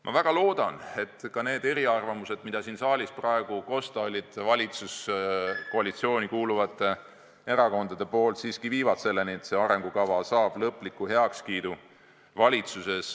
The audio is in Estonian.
Ma väga loodan, et ka need eriarvamused, mis siin saalis praegu kosta olid, viivad valitsuskoalitsiooni kuuluvates erakondades siiski selleni, et see arengukava saab valitsuses lõpliku heakskiidu.